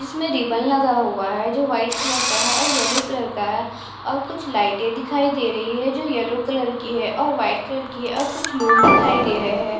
इसमें रिबन लगा हुआ है जो वाइट कलर का है और येल्लो कलर का है और कुछ लाइटे दिखाई दे रही है जो येल्लो कलर की है और वाइट कलर की है और कुछ लोग दिखाई दे रहे हैं।